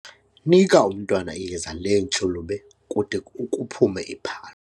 Nika umntwana iyeza leentshulube kude kuphume iphalo.